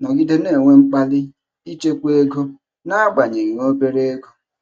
nọgide na-enwe mkpali ichekwa ego n'agbanyeghị obere ego.